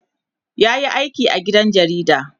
yayi aiki a gidan jarida